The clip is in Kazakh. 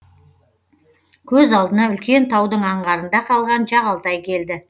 көз алдына үлкен таудың аңғарында қалған жағалтай келді